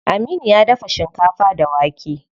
Aminu ya dafa shinkafa da wake.